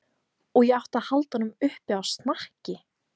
Og ég átti að halda honum uppi á snakki!